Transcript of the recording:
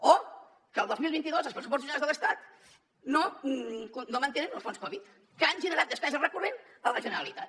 o que el dos mil vint dos els pressupostos generals de l’estat no mantenen el fons covid que han generat despesa recurrent a la generalitat